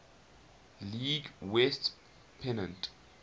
league west pennant